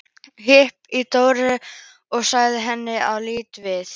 Hnippti í Dóru og sagði henni að líta við.